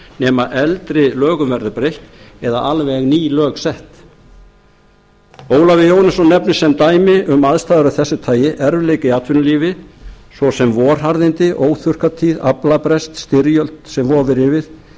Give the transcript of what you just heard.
nema eldri lögum verði breytt eða alveg ný lög sett ólafur jóhannesson nefnir sem dæmi um aðstæður af þessu tagi erfiðleika í atvinnulífi svo sem vorharðindi óþurrkatíð aflabrest styrjöld sem vofir yfir